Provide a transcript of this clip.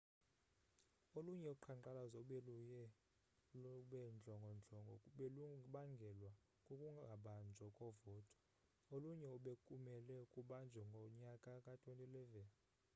olunye uqhankqalazo obeluye lubendlongondlongo belubangelwa kukungabanjwa kovoto olunye ebekumelwe kubanjwe ngonyaka ka-2011